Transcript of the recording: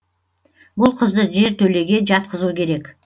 бұл қызды жертөлеге жатқызу керек